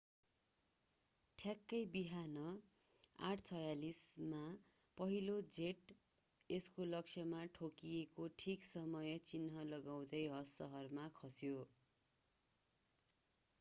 ठ्याक्कै बिहान 8:46 मा पहिलो जेट यसको लक्ष्यमा ठोकिएको ठीक समय चिन्ह लगाउँदै हस सहरमा खस्यो